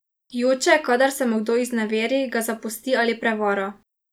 Joče, kadar se mu kdo izneveri, ga zapusti ali prevara.